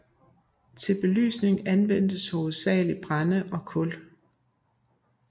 Til belysning anvendtes hovedsagelig brænde og kul